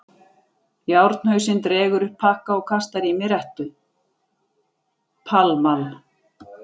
Járnhausinn dregur upp pakka og kastar í mig rettu: Pall Mall.